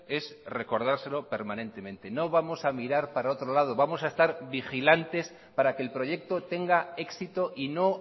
es recordárselo permanentemente no vamos a mirar para otro lado vamos a estar vigilantes para que el proyecto tenga éxito y no